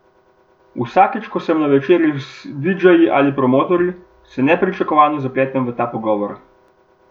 Vsakič, ko sem na večerji z didžeji ali promotorji, se nepričakovano zapletemo v ta pogovor.